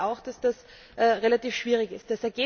Ich glaube auch, dass das relativ schwierig ist.